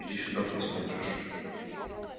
иди сюда посмотришь